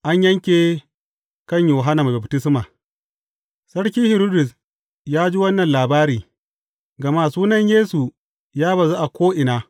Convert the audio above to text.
An yanke kan Yohanna Mai Baftisma Sarki Hiridus ya ji wannan labari, gama sunan Yesu ya bazu a ko’ina.